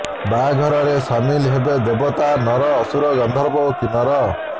ବାହାଘର ରେ ସାମିଲ ହେବେ ଦେବତା ନର ଅସୁର ଗର୍ଦ୍ଧବ ଓ କିନ୍ନର